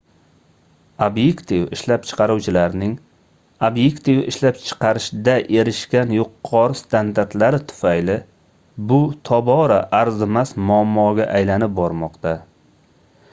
obyektiv ishlab chiqaruvchilarning obyektiv ishlab chiqarishda erishgan yuqori standartlari tufayli bu tobora arzimas muammoga aylanib bormoqda